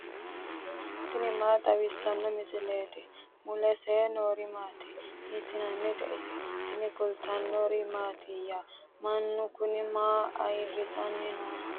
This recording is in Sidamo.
tini maa xawissanno misileeti ? mulese noori maati ? hiissinannite ise ? tini kultannori mattiya? Mannu kunni maa ayiirisanni nooho?